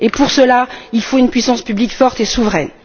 Et pour cela, il faut une puissance publique forte et souveraine.